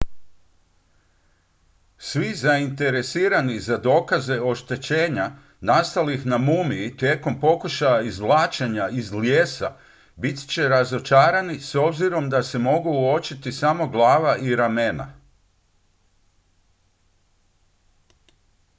svi zainteresirani za dokaze oštećenja nastalih na mumiji tijekom pokušaja izvlačenja iz lijesa bit će razočarani s obzirom da se mogu uočiti samo glava i ramena